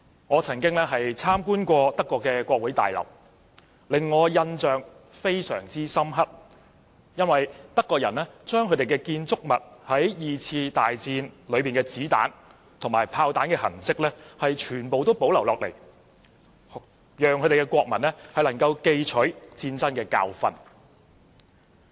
我曾經參觀德國國會大樓，令我印象非常深刻的是，德國人把二次大戰時子彈和炮彈留在建築物的痕跡全部保留下來，讓國民記取戰爭的教訓。